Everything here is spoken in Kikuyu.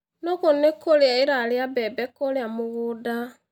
Nũgũ nĩ kũrĩa ĩrarĩa mbembe kũrĩa mũgũnda